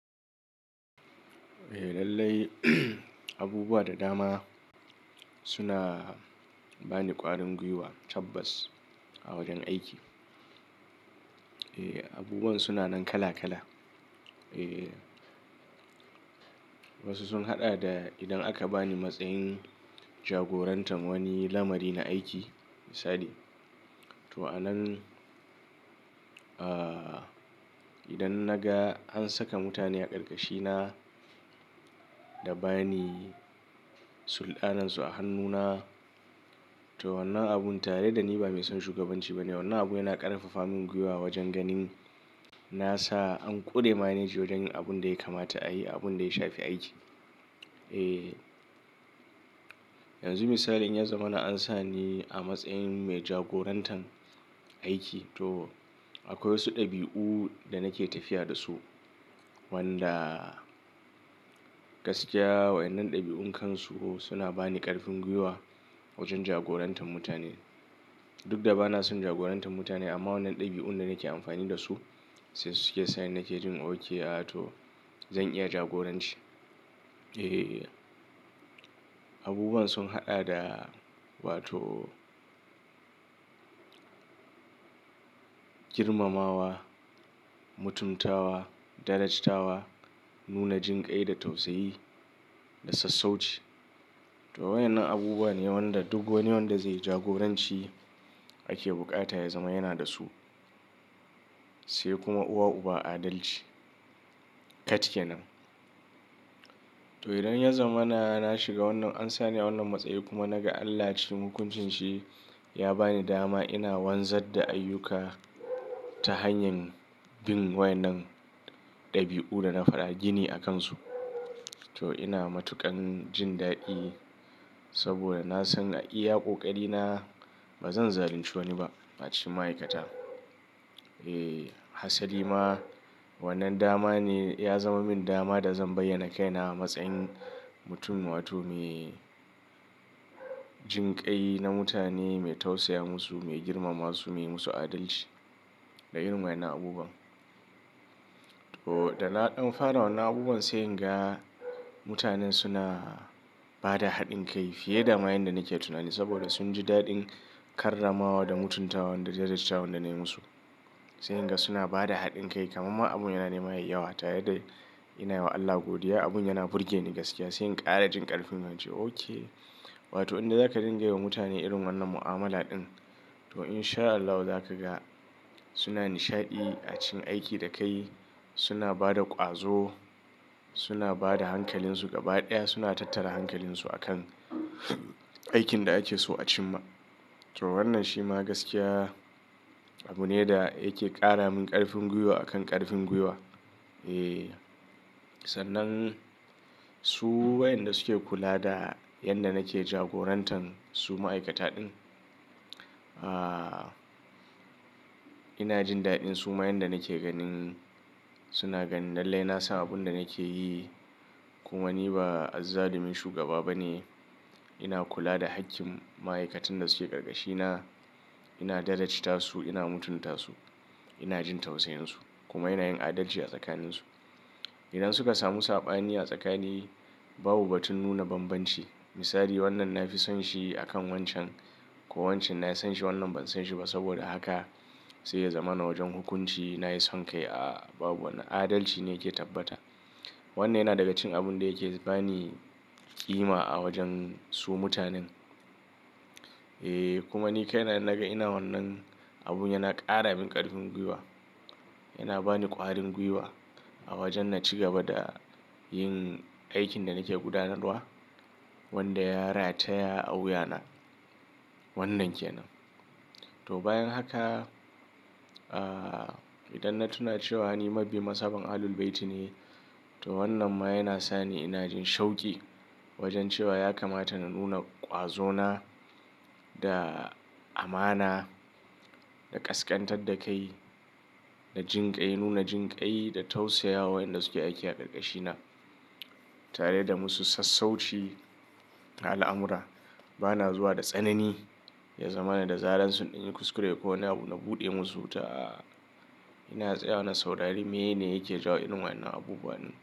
Eh lallai, abubuwa da dama suna bani ƙwarin gwiwa, tabbas a wajen aiki. Eh, abubuwan suna nan kala-kala. Eh, wasu sun haɗa da idan aka bani matsayin jagorantar wani lamari na aiki, misali, to a nan, ah idan na ga an saka mutane a ƙarƙashina, da ba ni sulɗanansu a hannuna, to wannan abun tare da ni ba mai son shugabanci ba ne. Wannan abun yana ƙarfafa min gwiwa wajen ganin na sa an ƙure maneji wajen yin abun da ya kamata a yi, abun da ya shafi aiki. Eh, yanzu misali in ya zama na an sa ni a matsayin mai jagorantar aiki, to akwai wasu ɗabi'u da nake tafiya da su, wanda gaskiya waƴen nan ɗabi'un kansu suna bani ƙarfin gwiwa wajen jagorantar mutane. Duk da ba na son jagorantar mutane, amma wannan ɗabi'un da nake amfani da su, sai su ke sa ni nake jin ok ah to, zan iya jagoranci. E, abubuwan sun haɗa da wato girmamawa, mutumtawa, darajtawa, nuna jinƙai da tausayi, da sassauci. To waƴen nan abubuwa ne wanda duk wani wanda zai jagoranci ake buƙata ya zama yana da su, sai kuma uwa uba adalci. Kat kenan. To idan ya zama na, na shiga wannan, an sani a wannan matsayi kuma naga Allah cikin hukuncin shi ya bani dama ina wanzar da ayyuka ta hanyar bin wayen nan ɗabi'u da na faɗa gini a kansu. To ina matuƙan jin daɗi, saboda na san a iya ƙoƙari na ba zan zalunci wani ba, a cikin ma'aikata. Eh, hasali ma, wannan dama ne, ya zama min dama da zan bayyana kai na a matsayin mutum wato me jinƙai na mutane, mai tausaya musu, mai girmama su, mai yi musu adalci da irin waƴen nan abubuwan. To, da na ɗan fara wannan abubuwan sai in ga, mutanen suna ba da haɗin kai fiye da ma yan da nake tunani, saboda sun ji daɗin karramawa, da mutuntawan, da darajtawan da na yi musu. Sai in ga suna ba da haɗin kai kamar ma abun yana nema yayi yawa, tare da ina yi wa Allah godiya, abun yana burge ni gaskiya sai in ƙara jin ƙarfin ince ok Wato in dai zaka dinga yi wa mutane irin wannan mu'amala ɗin to in sha Allahu za ka ga, suna nishaɗi a cikin aikin da kai, suna ba da ƙwazo, suna ba da hankalinsu gaba ɗaya, suna tattara hankalinsu a kan aikin da ake so a cimma. To wannan shi ma gaskiya, abu ne da yake ƙara min ƙarfin gwiwa a kan ƙarfin gwiwa. Eh, sannan su waƴan da suke kula da yanda nake jagorantan su ma'aikata ɗin. Ah ina jin daɗin su ma yanda nake ganin suna ganin lallai na san abun da nake yi kuma ni ba azzalumin shugaba ba ne. Ina kula da haƙƙin ma'aikatan da suke ƙarƙashina, ina darajta su, ina mutunta su, ina jin tausayinsu kuma ina yin adalci a tsakaninsu, idan suka samu saɓani a tsakani, babu batun nuna banbanci. Misali, wannan na fi son shi akan wancan, ko wancan na san shi wannan ban san shi ba, saboda haka, sai ya zama na wajen hukunci na yi son kai, ah babu Wannan adalci ne yake tabbata. Wannan yana daga cikin abun da yake bani ƙima a wajen su mutanen. Eh, kuma ni kai na in naga ina wannan, abun yana ƙara min ƙarfin gwiwa, yana bani ƙwarin gwiwa a wajen na ci gaba da yin aikin da nake gudanarwa, wanda ya rataya a wuya na. Wannan ke nan. To bayan haka, ah idan na tuna cewa ni mabiyin mazhaban Ahlul-Bayti ne, to wannan ma yana sa ni ina jin shauƙi wajen cewa ya kamata na nuna ƙwazona, da amana, da ƙasƙantar da kai, da jinƙai, nuna jinƙai, da tausaya wa waƴan da suke aiki a ƙarƙashina, tare da musu sassauci a al'amura, ba na zuwa da tsanani, ya zama na da zaren sun ɗan yi kuskure ko wani abu na buɗe musu wuta, a'a ina tsaya wa na saurari meye ne yake jawo irin waƴen nan abubuwan.